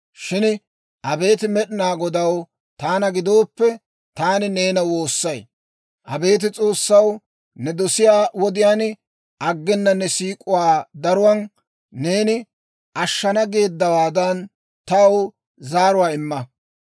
Shin abeet Med'inaa Godaw, taana gidooppe, taani neena woossay. Abeet S'oossaw, ne dosiyaa wodiyaan, aggena ne siik'uwaa daruwaan, neeni ashana geeddawaadan taw zaaruwaa imma.